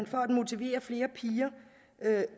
for at motivere flere piger